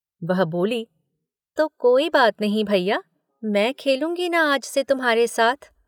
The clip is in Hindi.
वह बोली—"तो कोई बात नहीं भइया, मैं खेलूंगी न आज से तुम्हारे साथ।